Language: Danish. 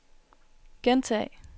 gentag